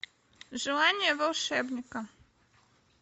желание волшебника